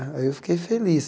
Aí eu fiquei feliz.